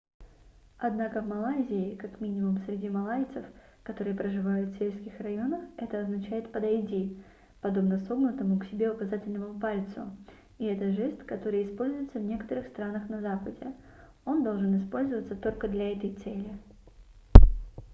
однако в малайзии как минимум среди малайцев которые проживают в сельских районах это означает подойди подобно согнутому к себе указательному пальцу и это жест который используется в некоторых странах на западе он должен использоваться только для этой цели